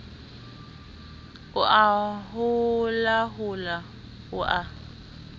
o a holahola o a